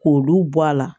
K'olu bɔ a la